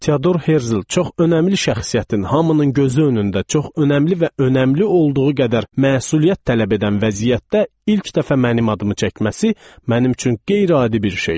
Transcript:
Teodor Herzel çox önəmli şəxsiyyətin hamının gözü önündə çox önəmli və önəmli olduğu qədər məsuliyyət tələb edən vəziyyətdə ilk dəfə mənim adımı çəkməsi mənim üçün qeyri-adi bir şeydir.